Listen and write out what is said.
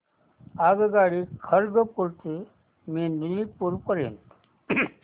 आगगाडी खरगपुर ते मेदिनीपुर पर्यंत